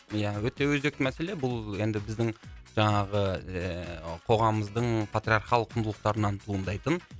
ия өте өзекті мәселе бұл енді біздің жаңағы ыыы қоғамымыздың патриархалдық құндылықтарынан туындайтын